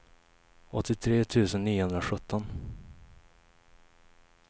åttiotre tusen niohundrasjutton